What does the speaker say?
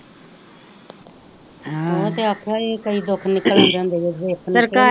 ਹ੍ਹ ਓਹ ਤੇ ਓਖਾਂ ਏ ਕਈ ਦੁਖ ਨੀਕਲ ਆਂਦੇ ,